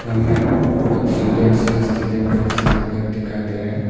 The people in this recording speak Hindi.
हमें एक सुंदर सा स्टेडियम का जैसा घर दिखाई दे रहा है।